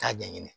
K'a ɲɛɲini